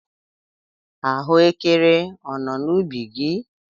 Ahụekere ọ nọ n'ubi gị?